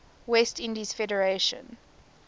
west indies federation